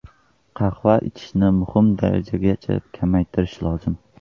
Qahva ichishni minimum darajagacha kamaytirish lozim.